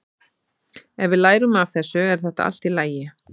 Ef við lærum af þessu er þetta allt í lagi.